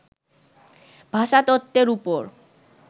ভাষাতত্ত্বের উপর